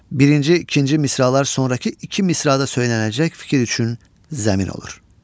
Birinci, ikinci misralar sonrakı iki misrada söyləniləcək fikir üçün zəmin olur.